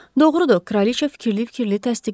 Doğrudur, Kraliça fikirli-fikirli təsdiqlədi.